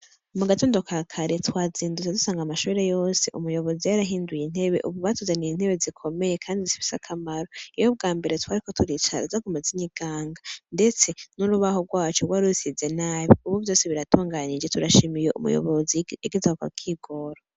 Mu gatondo ka kare twazindutse dusanga amashure yose, umuyobozi yarahinduye intebe. Ubu batuzaniye intebe zikomeye kandi zifise akamaro. Iyo ubwambere twariko turicara zaguma zinyiganga, ndetse n'urubaho rwaco rwari rusize nabi. Ubu vyose biratunganije. Turashimiye umuyobozi yagize ako kigoro.